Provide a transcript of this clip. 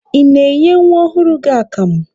Ị na-enye nwa ọhụrụ gị akamụ?